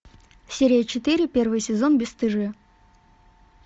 серия четыре первый сезон бесстыжие